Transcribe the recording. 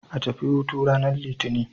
A tafi hutu ranar Litinin.